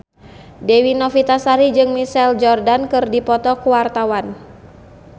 Dewi Novitasari jeung Michael Jordan keur dipoto ku wartawan